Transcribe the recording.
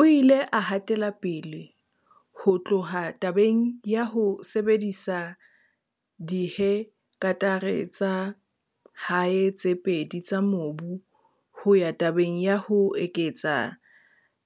O ile a hatela pele ho tloha tabeng ya ho sebedisa dihe ktare tsa hae tse pedi tsa mobu ho ya tabeng ya ho eketsa